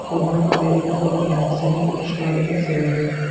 O‘g‘lim Amerikada o‘qigan, sening qo‘shiqlaringni sevadi.